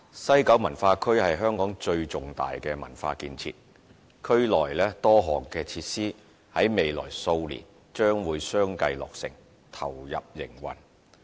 西九文化區是香港最重大的文化建設，區內多項設施在未來數年將相繼落成，投入營運。